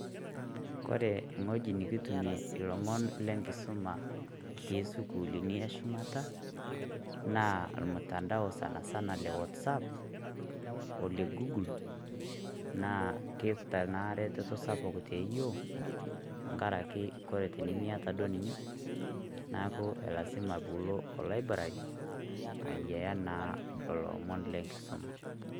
Ore ewueji nikitumie ilomon lenkisuma tesukuulini eshumata, naa omtandao sanasana le WhatsApp ,ole Google ,na keeta ena ereteto sapuk teyiok, tenkaraki ore tenimiata duo ninye, neeku elasima piilo olaibrari ayiaya naa lelo omon lenkisuma.